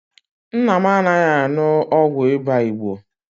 Nna m anaghị aṅụ ụgwọ ịba Igbo.